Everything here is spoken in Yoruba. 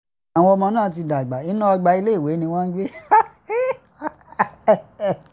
ní báyìí àwọn ọmọ náà ti dàgbà inú ọgbà iléèwé ni wọ́n ń gbé